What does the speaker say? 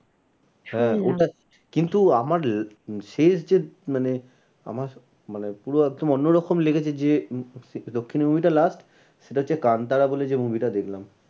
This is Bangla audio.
কিন্তু আমার শেষ যে মানে আমার মানে পুরো একদম অন্য রকম লেগেছে যে দক্ষিণি movie টা last সেটা হচ্ছে কান্তারা বলে যে movie টা দেখলাম।